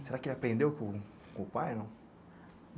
Será que aprendeu com, com o pai?